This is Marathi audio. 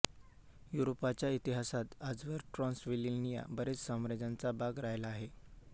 युरोपाच्या इतिहासात आजवर ट्रान्सिल्व्हेनिया बरेच साम्राज्यांचा भाग राहिला आहे